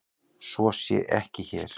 Svo sé ekki hér.